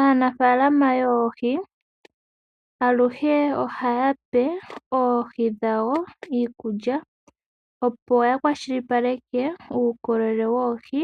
Aanafalama yoohi, aluhe oha ya pe oohi dhawo iikulya opo ya kwashilipaleke uukolele woohi,